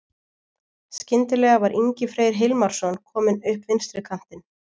Skyndilega var Ingi Freyr Hilmarsson kominn upp vinstri kantinn.